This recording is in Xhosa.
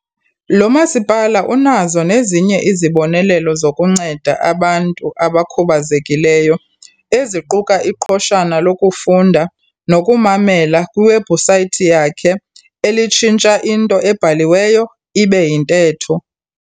Lo masipala unazo nezinye izibonelelo zokunceda abantu abakhubazekileyo eziquka iqhoshana lokufunda nokumamela kwiwebhusayithi yakhe elitshintsha into ebhaliweyo ibe yintetho.